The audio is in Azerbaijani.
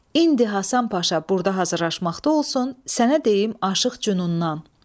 İndi Həsən Paşa burda hazırlaşmaqda olsun, sənə deyim Aşıq Cünundan.